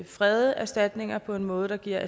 frede erstatningerne på en måde der giver